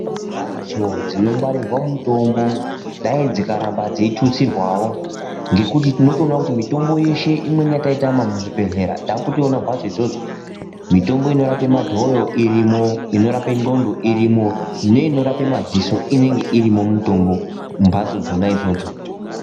Mbatso dzinongwarirwa mutombo dai dzokaramba dzeitutsirwawo ngekuti tinotoona kuti mitombo yeshe imweni yataitama muzvibhehlera takutoyiona mumbatso idzodzo. Mitombo inorape madhoyo irimwo, inorape ndxondo iripo neinorape madziso inenge irimwo mumbatso dzona idzodzo.